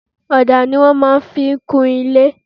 Ọ̀dà ni wọ́n máa ń fi ń kun ilé.